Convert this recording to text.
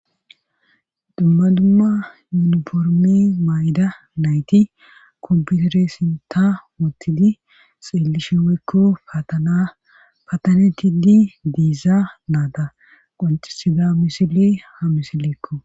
dumma dumma yuniformi mayda nayti komputere ssintan woottidi xeellishe weykko patana patanetidi diiza naada qoncisida misili ha misileekko